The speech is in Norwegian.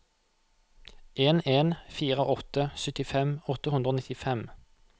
en en fire åtte syttifem åtte hundre og nittifem